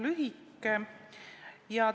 Arupärimine on üpris lühike.